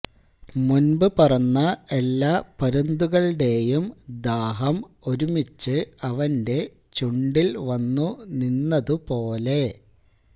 മുന്പു പറന്ന എല്ലാ പരുന്തുകളുടേയും ദാഹം ഒരുമിച്ച് അവന്റെ ചുണ്ടില് വന്നു നിന്നതുപോലെ